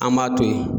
An b'a to yen